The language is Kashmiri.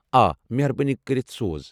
آ، مہربٲنی کٔرِتھ سوز۔